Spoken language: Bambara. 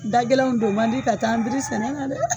Da gɛlɛnw don man di ka taa an biri sɛnɛ na dɛ!